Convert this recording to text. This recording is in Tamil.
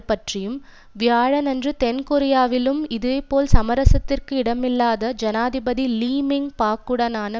பற்றியும் வியாழனன்று தென்கொரியாவிலும் இதேபோல் சமரசத்திற்கு இடமில்லாத ஜனாதிபதி லீ மிங் பாக்குடனான